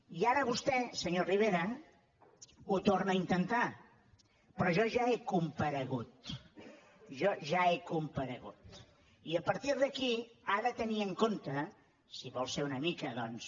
i ara vostè senyor rivera ho torna a intentar però jo ja he comparegut jo ja he comparegut i a partir d’aquí ha de tenir en compte si vol ser una mica doncs